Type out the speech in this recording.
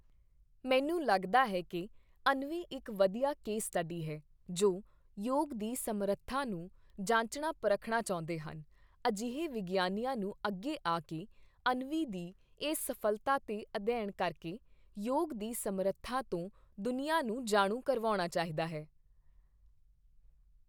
ਮੈਨੂੰ ਲੱਗਦਾ ਹੈ ਕੀ ਅਨਵੀ ਇੱਕ ਵਧੀਆ ਕੇਸ ਸਟਡੀ ਹੈ ਜੋ ਯੋਗ ਦੀ ਸਮਰੱਥਾ ਨੂੰ ਜਾਂਚਣਾ ਪਰਖਣਾ ਚਾਹੁੰਦੇ ਹਨ, ਅਜਿਹੇ ਵਿਗਿਆਨੀਆਂ ਨੂੰ ਅੱਗੇ ਆ ਕੇ ਅਨਵੀ ਦੀ ਇਸ ਸਫ਼ਲਤਾ ਤੇ ਅਧਿਐਨ ਕਰਕੇ, ਯੋਗ ਦੀ ਸਮਰੱਥਾ ਤੋਂ ਦੁਨੀਆਂ ਨੂੰ ਜਾਣੂ ਕਰਵਾਉਣਾ ਚਾਹੀਦਾ ਹੈ।